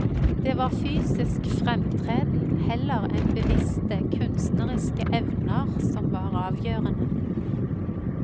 Det var fysisk fremtreden heller enn bevisste kunstneriske evner som var avgjørende.